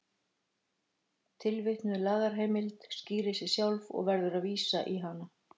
Tilvitnuð lagaheimild skýrir sig sjálf og verður að vísa í hana.